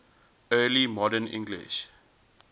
early modern english